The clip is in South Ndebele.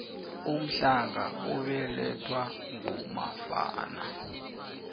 umhlanga ubelathwa ngumafana